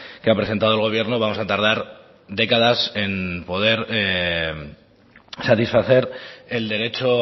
que ha presentado el gobierno vamos a tardar décadas en poder satisfacer el derecho